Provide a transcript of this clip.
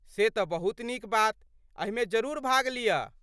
से तऽ बहुत नीक बात, एहिमे जरूर भाग लिअ।